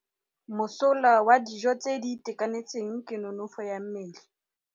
Mosola wa dijô tse di itekanetseng ke nonôfô ya mmele.